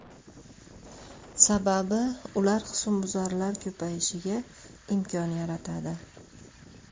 Sababi ular husnbuzarlar ko‘payishiga imkon yaratadi.